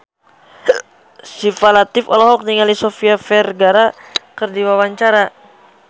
Syifa Latief olohok ningali Sofia Vergara keur diwawancara